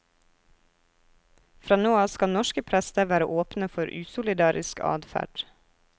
Fra nå av skal norske prester være åpne for usolidarisk adferd.